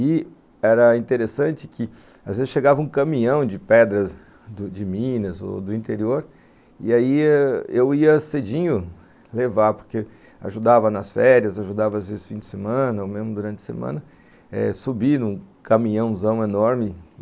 E era interessante que às vezes chegava um caminhão de pedras de Minas ou do interior, e aí eu ia cedinho levar, porque ajudava nas férias, ajudava às vezes no fim de semana, ou mesmo durante a semana, subir num caminhãozão enorme.